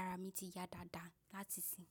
ara mi ti ya dáadáa láti ìsìn.